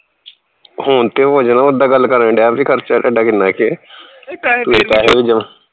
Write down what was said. ਹੁਣ ਤੇ ਹੋ ਜਾਣਾ ਉੱਦਾ ਗੱਲ ਕਰਨ ਦਿਆ ਬਈ ਖਰਚਾ ਤੁਹਾਡਾ ਕਿੰਨਾ ਕੇ ਤੇ ਪੈਹੇ ਵੀ ਜਮਾ